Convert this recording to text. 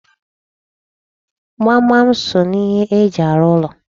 Gbamgbam so n'ihe eji arụ ụlọ.